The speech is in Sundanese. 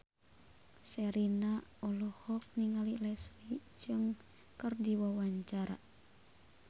Sherina olohok ningali Leslie Cheung keur diwawancara